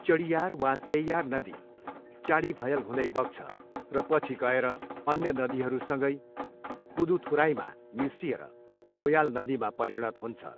चडियार वा चेय्यार नदी चाडिभयल हुँदै बग्छ र पछि गएर अन्य नदीहरूसँगै कुदुथुराईमा मिसिएर नोयाल नदीमा परिणत हुन्छ।